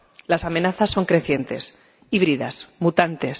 Las amenazas son crecientes, híbridas, mutantes.